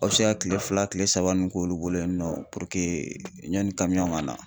Aw bɛ se ka kile fila kile saba ninNU k'olu bolo yen nɔ PURUKE yanni ka na